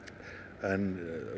en